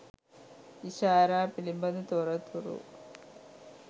ඉෂාරා පිළිබඳ තොරතුරු